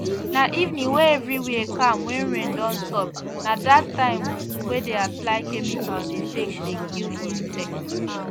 na evening wey everywhere calm wen rain don stop na dat time wey dey apply chemical dey take dey kill insect